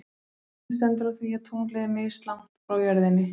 En hvernig stendur á því að tunglið er mislangt frá jörðinni?